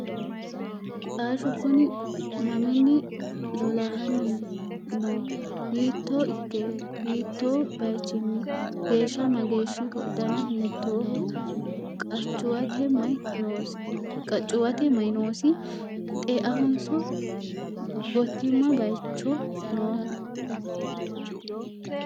Xashshu kunni maminni lolahanni noo? hiitto ikke? hiitto bayiichchinni? geesha mageeshshiho? danna hiittoho? qachuwatte mayi noosi? xeahonso gotiimma bayiichcho nooho?